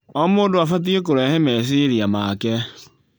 O mũndũ abatie kũrehe meciria make.